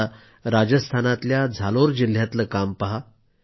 आता राजस्थानातल्या झालोर जिल्ह्यातलं काम पहा